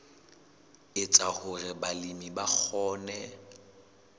etsa hore balemi ba kgone